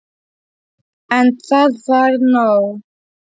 En það var nóg.